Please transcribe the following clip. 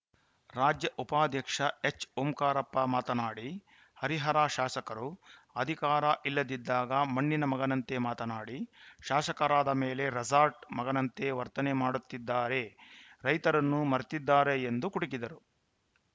ರಾಜ್ಯ ಉಪಾಧ್ಯಕ್ಷ ಎಚ್‌ಓಂಕಾರಪ್ಪ ಮಾತನಾಡಿ ಹರಿಹರ ಶಾಸಕರು ಅಧಿಕಾರ ಇಲ್ಲದಿದ್ದಾಗ ಮಣ್ಣಿನ ಮಗನಂತೆ ಮಾತನಾಡಿ ಶಾಸಕರಾದ ಮೇಲೆ ರೇಸಾರ್ಟ್‌ ಮಗನಂತೆ ವರ್ತನೆ ಮಾಡುತ್ತಿದ್ದಾರೆ ರೈತರನ್ನು ಮರೆತಿದ್ದಾರೆ ಎಂದು ಕುಟುಕಿದರು